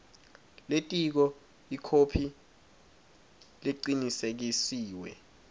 lelitiko ikhophi lecinisekisiwe